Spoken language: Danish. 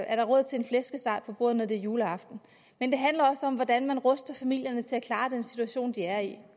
er råd til en flæskesteg på bordet når det er juleaften men det handler også om hvordan man ruster familierne til at klare den situation de er i